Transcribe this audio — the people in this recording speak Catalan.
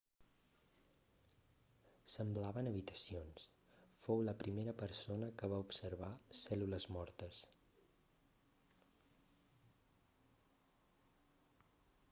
semblaven habitacions fou la primera persona que va observar cèl·lules mortes